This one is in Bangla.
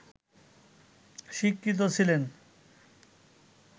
স্বীকৃত ছিলেন